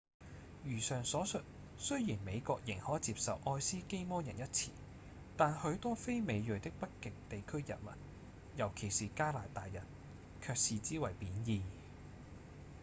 如上所述雖然美國仍可接受「愛斯基摩人」一詞但許多非美裔的北極地區人民尤其是加拿大人卻視之為貶義